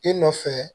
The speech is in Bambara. I nɔfɛ